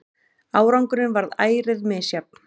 Árangurinn varð ærið misjafn.